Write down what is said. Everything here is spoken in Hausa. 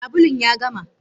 Sabulun ya gama.